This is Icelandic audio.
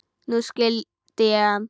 Nú skildi ég hann.